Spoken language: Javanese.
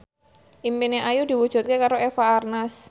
impine Ayu diwujudke karo Eva Arnaz